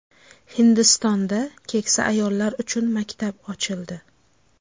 Hindistonda keksa ayollar uchun maktab ochildi.